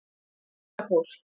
Fjallakór